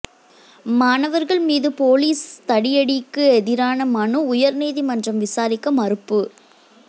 மாணவர்கள் மீது போலீஸ் தடியடிக்கு எதிரான மனு உயர்நீதிமன்றம் விசாரிக்க மறுப்பு